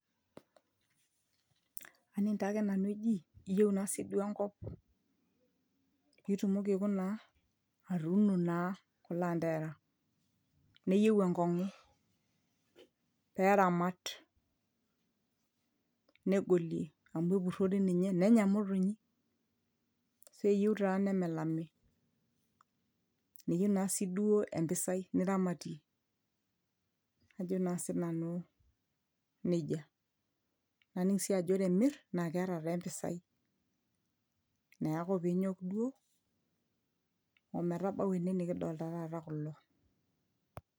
aning taake nanu eji iyieu naa sii duo enkop pituumoki aikuna aa atuuno naa kulo anterara neyieu enkong'u peramat negolie amu epurrori ninye nenya imotonyi keyieu taa nemelami neyieu naa siduo empisai niramatie ajo naa sinanu nejia aning sii ajo ore imirr naa keeta taa empisai neeku piinyok duo ometabau ene nikidolta taata kulo.